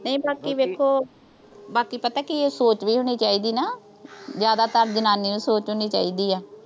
ਨਹੀਂ ਬਾਕੀ ਵੇਖੋ। ਬਾਕੀ ਪਤਾ ਕੀ ਐ। ਸੋਚ ਵੀ ਹੋਣੀ ਚਾਹੀਦੀ ਨਾ। ਜ਼ਿਆਦਾ ਤਾਂ ਜਨਾਨੀ ਦੀ ਸੋਚ ਹੋਣੀ ਚਾਹੀਦੀ ਆ।